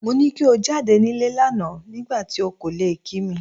Mo ni ko jáde nílé lánàá nígbà tí ò kò lè kí mi.